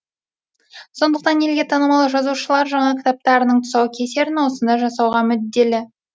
сондықтан елге танымал жазушылар жаңа кітаптарының тұсаукесерін осында жасауға мүдделі